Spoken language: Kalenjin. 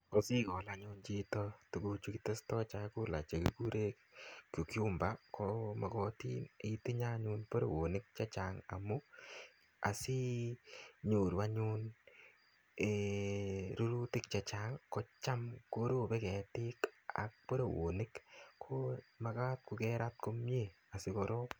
Ko sikol anyun chito tuguchu kiestoi chakula che kikure cucumber, ko magatin anyun itinye anyun borowonik chechang. Amu, asinyoru anyun um rurutik chechang, kocham korobe ketik ak borowonik. Ko magat kokerat komyee asikorop.